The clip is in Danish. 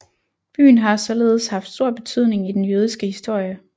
Byen har således haft stor betydning i den jødiske historie